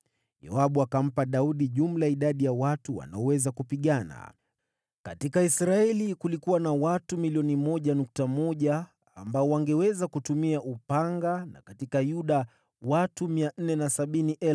Yoabu akampa Daudi jumla ya idadi ya watu wanaoweza kupigana. Katika Israeli kulikuwa na watu 1,100,000 ambao wangeweza kutumia upanga na katika Yuda watu 470,000.